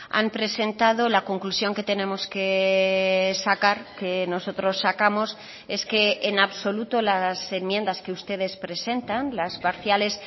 han presentado la conclusión que tenemos que sacar que nosotros sacamos es que en absoluto las enmiendas que ustedes presentan las parciales